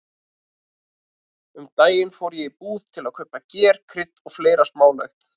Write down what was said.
Um daginn fór ég í búð til að kaupa ger, krydd og fleira smálegt.